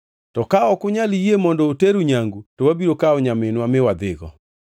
To ka ok unyal yie mondo oteru nyangu to wabiro kawo nyaminwa mi wadhigo.”